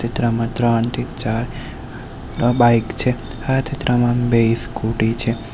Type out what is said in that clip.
આ ચિત્રમાં ત્રણથી ચાર બાઇક છે આ ચિત્રમાં બે સ્કુટી છે.